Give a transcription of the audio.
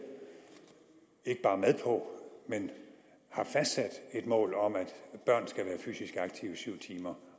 på men har fastsat et mål om at børn skal være fysisk aktive i syv timer